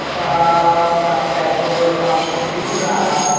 बड़ा सा petrol pump दिख रहा है।